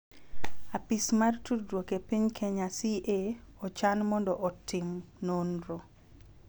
Apis mar tudruok e piny Kenya (CA) ochan mondo otim nonro